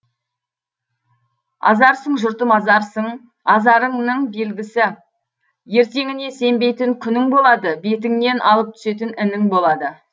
азарсың жұртым азарсың азарыңның белгісі ертеңіне сенбейтін күнің болады бетіңнен алып түсетін інің болады